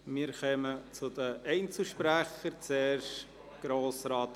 Wir kommen zu den Einzelsprechern;